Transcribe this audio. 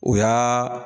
O y'aa